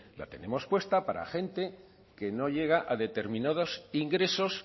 la tenemos puesta para gente que no llega a determinados ingresos